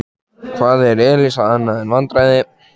Hvað er Elísa annað en vandræði?